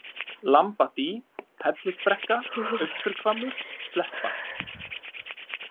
Lambadý, Hellisbrekka, Austurhvammur, Sleppa